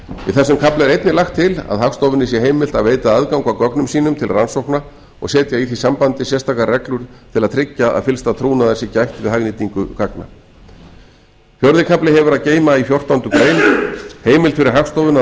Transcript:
í þessum kafla er einnig lagt til að hagstofunni sé heimilt að veita aðgang að gögnum sínum til rannsókna og setja í því sambandi sérstakar reglur til að tryggja að fyllsta trúnaðar sé gætt við hagnýtingu gagna fjórði kafli hefur að geyma í fjórtándu greinar heimild fyrir hagstofuna